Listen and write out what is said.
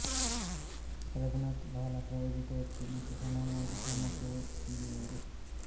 ರಘುನಥ್ ಬಹಳ ಪ್ರಯೊಗಿಕ ವ್ಯಕ್ತಿ ಮತ್ತು ಸಮಾನವಾಗಿ ಸಮರ್ಥ್ಯ ಯುಯ್ಯವರು